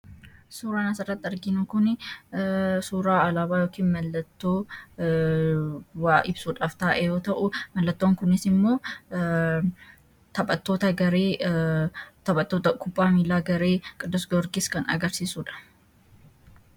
suuraa nasarratti arginu kun suuraa alaabaa yokii mallattoowaa ibsuudhaaf taa'eyoo ta'uu mallattoon kuniis immoo taphattoota garei taphattoota kuphaa miilaa garei qidus gorgis kan agarsiisuudha